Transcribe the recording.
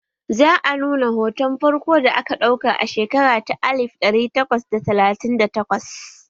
Za a nuna hoton farko da aka ɗauka a shekara ta alif ɗari takwas da talatin da takwas